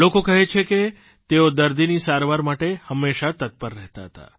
લોકો કહે છે કે તેઓ દર્દીની સારવાર માટે હંમેશા તત્પર રહેતા હતા